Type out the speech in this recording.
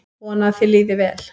Vona að þér líði vel.